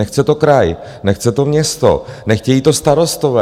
Nechce to kraj, nechce to město, nechtějí to starostové.